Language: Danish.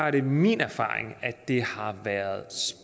at det er min erfaring at det hidtil har været